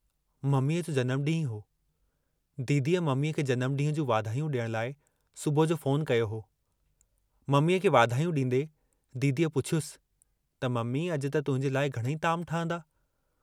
मम्मीअ जो जन्मु डींहुं हो, दीदीअ मम्मीअ खे जन्म डींहं जूं वाधायूं डियण लाइ सुबुह जो फोन कयो हो, मम्मीअ खे वाधायूं डींदे, दीदीअ पुछियुसि त मम्मी अजु त तुहिंजे लाइ घणेई ताम ठहंदा।